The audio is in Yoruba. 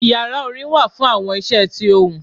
Ìyará orin wa fún awọn iṣẹ tí ohún.